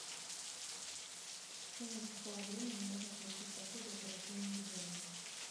в течение какого времени можно получить пособие по рождению ребенка